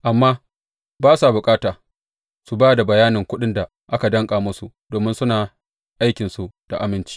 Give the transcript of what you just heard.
Amma ba sa bukata su ba da bayanin kuɗin da aka danƙa musu domin suna aikinsu da aminci.